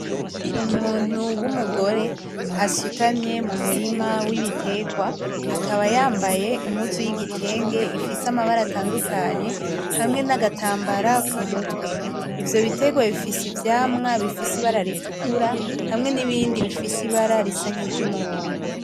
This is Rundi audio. Umuntu w'umugore asutamye mu murima w'ibitegwa akaba yambaye impuzu y'igitenge ifise amabara atandukanye hamwe n'agatambara ku mutwe, ivyo bitegwa bifise ivyamwa bifise ibara ritukura hamwe n'ibindi bifise ibara risa nki ry'umuhondo.